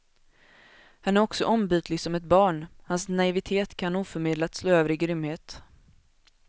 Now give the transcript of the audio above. Han är också ombytlig som ett barn, hans naivitet kan oförmedlat slå över i grymhet.